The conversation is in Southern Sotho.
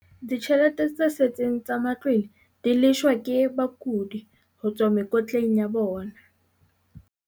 Dijhelete tse setseng tsa ma tlwele di leshwa ke bakudi ho tswa mekotleng ya bona.